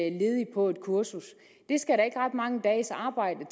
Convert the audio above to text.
en ledig på et kursus det skal der ikke ret mange dages arbejde